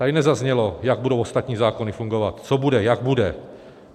Tady nezaznělo, jak budou ostatní zákony fungovat, co bude, jak bude.